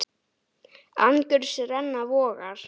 Angurs renna vogar.